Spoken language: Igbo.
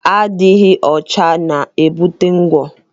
Adịghị ọcha na-ebute ngwọ.